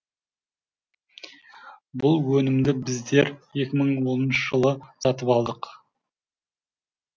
бұл өнімді біздер екі мың оныншы жылы сатып алдық